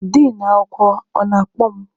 Din akwụkwọ, ọ na-akpọ mụ?